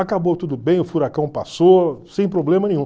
Acabou tudo bem, o furacão passou, sem problema nenhum.